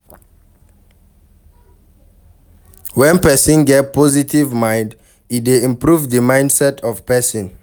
When person get positive mind e dey improve di mindset of person